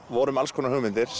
vorum með alls konar hugmyndir